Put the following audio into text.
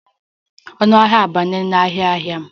Ọnụ ahịa na-abawanye n'ahịa ahịa.